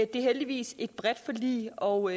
det er heldigvis et bredt forlig og